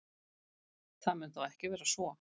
Það mun þó ekki vera svo.